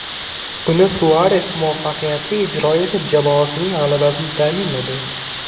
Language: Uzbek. Uni Suares muvaffaqiyatli ijro etib, jamoasining g‘alabasini ta’minladi.